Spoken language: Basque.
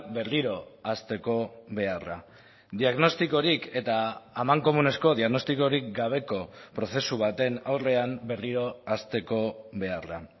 berriro hasteko beharra diagnostikorik eta amankomunezko diagnostikorik gabeko prozesu baten aurrean berriro hasteko beharra